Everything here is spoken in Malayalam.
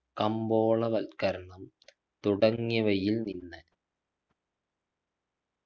കമ്പോളവൽക്കരണം തുടങ്ങിയവയിൽ നിന്ന്